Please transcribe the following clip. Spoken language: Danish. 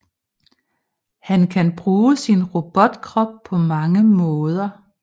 Han kan bruge sin robotkrop på mange måder